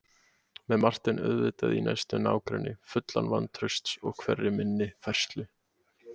Með Martein auðvitað í næsta nágrenni, fullan vantrausts á hverri minni færslu.